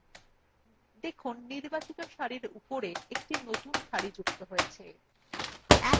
দেখুন নির্বাচিত সারির উপরে একটি নতুন সারি যুক্ত হয়েছে